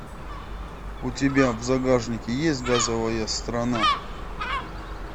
у тебя в загашнике есть газовая страна